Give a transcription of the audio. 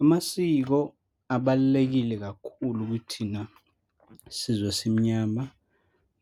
Amasiko abalulekile kakhulu kithina sizwe simnyama